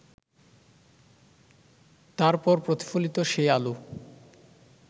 তারপর প্রতিফলিত সেই আলো